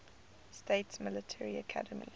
states military academy